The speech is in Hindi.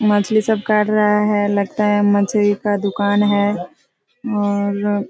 मछली सब कर रहा हैलगता है मछली का दुकान है और --